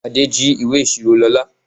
Adé jí ìwé ìṣirò Lóla.